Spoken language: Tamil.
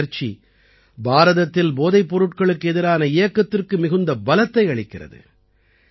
இந்த முயற்சி பாரதத்தில் போதைப் பொருட்களுக்கு எதிரான இயக்கத்திற்கு மிகுந்த பலத்தை அளிக்கிறது